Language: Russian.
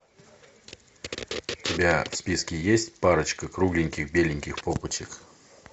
у тебя в списке есть парочка кругленьких беленьких попочек